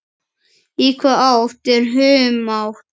Í hvaða átt er humátt?